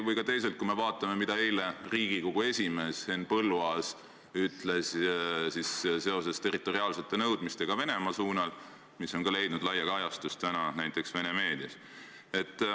Või teisalt vaatame, mida ütles Riigikogu esimees Henn Põlluaas eile territoriaalsete nõudmiste kohta Venemaa suunal ja mis on leidnud laia kajastust ka näiteks tänases Venemaa meedias.